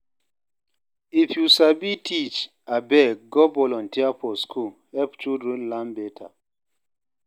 If you sabi teach, abeg go volunteer for school, help children learn beta.